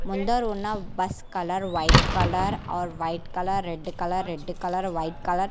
ముందరున్న bus colour white colour or white colour red colour red colour white colour .